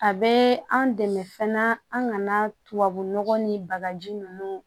A bɛ an dɛmɛ fana an ka na tubabu nɔgɔ ni bagaji ninnu